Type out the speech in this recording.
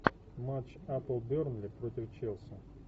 матч апл бернли против челси